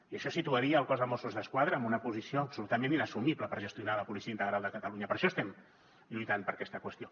i això situaria el cos de mossos d’esquadra en una posició absolutament inassumible per gestionar la policia integral de catalunya per això estem lluitant per aquesta qüestió